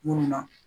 Munnu na